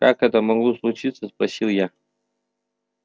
как это могло случиться спросил я